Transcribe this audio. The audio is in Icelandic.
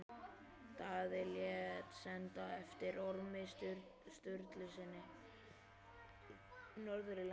Daði lét senda eftir Ormi Sturlusyni norður í land.